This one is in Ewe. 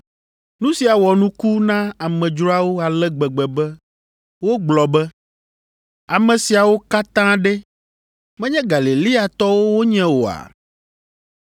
Nu sia wɔ nuku na amedzroawo ale gbegbe be wogblɔ be, “Ame siawo katã ɖe, menye Galileatɔwo wonye oa?